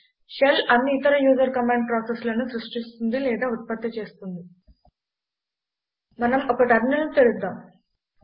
shell అన్ని ఇతర user command ప్రాసెస్లను సృష్టిస్తుంది లేదా ఉత్పత్తి చేస్తుంది మనం ఒక టెర్మినల్ను తెరుద్దాం